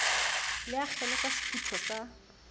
le akgele ka sefutho sa